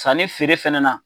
San ni feere fɛnɛ na